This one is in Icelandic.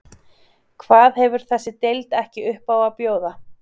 Hvað hefur þessi deild ekki upp á að bjóða?